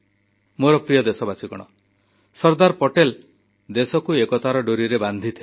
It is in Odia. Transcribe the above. ମୋର ପ୍ରିୟ ଦେଶବାସୀ ସର୍ଦ୍ଦାର ପଟେଲ ଦେଶକୁ ଏକତାର ଡୋରିରେ ବାନ୍ଧିଥିଲେ